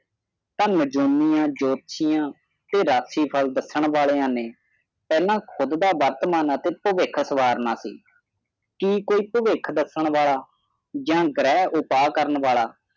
ਥਾਨ ਜੋਨਿ ਹੈ ਜੋਨੀਆਂ ਵਾਲਾ ਤੇ ਰਚੀ ਫਾਲ ਦੱਸਿਆ ਵਾਲਿਆਂ ਨੇ ਪਹਲਾ ਖੁਦ ਦਾ ਵਰਤਮਾਨ ਅਤੇ ਭਵਿੱਖ ਸੁਧਾਰਨਾ ਸੀ ਕੇ ਕੋਈ ਭਵਿੱਖ ਦੱਸਣ ਵਾਲਾ ਯਹ ਘਰੇ ਉਤਾਰ ਵਾਲਾ